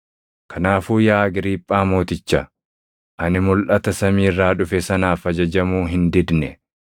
“Kanaafuu yaa Agriiphaa Mooticha, ani mulʼata samii irraa dhufe sanaaf ajajamuu hin didne.